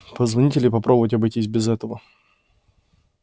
позвонить или попробовать обойтись без этого